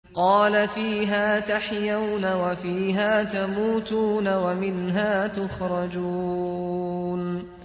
قَالَ فِيهَا تَحْيَوْنَ وَفِيهَا تَمُوتُونَ وَمِنْهَا تُخْرَجُونَ